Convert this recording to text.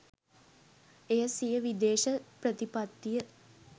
එය සිය විදේශ ප්‍රතිපත්තිය